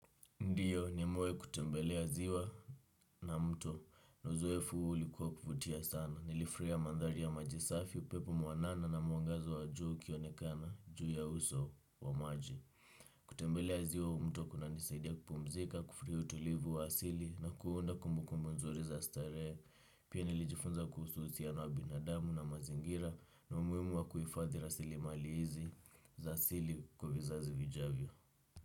Ndiyo, nimewahi kutembelea ziwa na mto na uzoefu ulikuwa wa kuvutia sana. Nilifurahia mandhari ya majisafi, upepo mwanana na mwangaza wa jua ukionekana juu ya uso wa maji. Kutembelea ziwa au mto kunanisaidia kupumzika, kufurahia utulivu wa asili na kuunda kumbukumbu nzuri za starehe. Pia nilijifunza kuhusu uhusiano wa binadamu na mazingira na umuhimu wa kuhifadhi rasilimali hizi za asili kwa vizazi vijavyo.